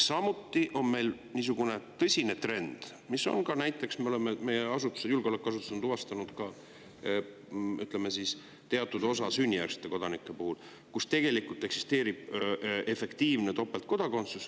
Samuti on meil niisugune tõsine trend, mille on ka meie julgeolekuasutused tuvastanud, et teatud osa sünnijärgsete kodanike puhul tegelikult eksisteerib efektiivne topeltkodakondsus.